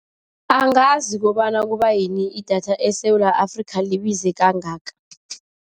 Angazi kobana kubayini idatha eSewula Afrika libize kangaka.